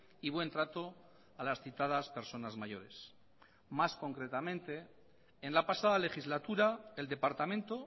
y buen trato a las citadas personas mayores más concretamente en la pasada legislatura el departamento